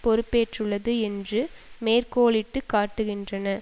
பொறுப்பேற்றுள்ளது என்று மேற்கோளிட்டு காட்டுகின்றன